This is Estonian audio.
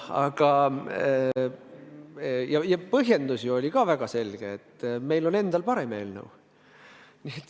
Ja põhjendus oli ju ka väga selge: meil on endal parem eelnõu.